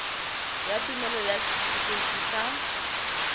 ya tumelelo ya setifikeite sa